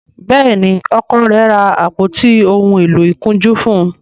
Béèni Ọkọ rẹ ra àpótí òún èló ìkunjú fún.